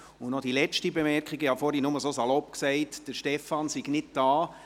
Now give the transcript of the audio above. Und noch die letzte Bemerkung: Ich habe vorhin nur so salopp gesagt, Stefan Costa sei nicht hier.